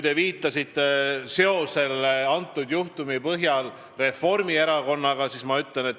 Te viitasite selle juhtumi puhul seosele Reformierakonnaga.